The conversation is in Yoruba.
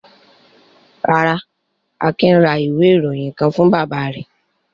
Rárá, Akin ra ìwé-ìròyìn kan fún bàbá rẹ̀.